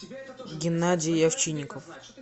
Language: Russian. геннадий овчинников